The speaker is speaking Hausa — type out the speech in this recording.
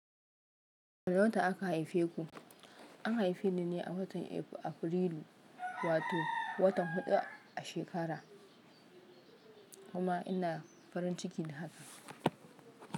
Wane wata aka haife ku? An haife ni ne a watan Afrilu, wato watan huɗu a shekara, kuma ina farin ciki da haka.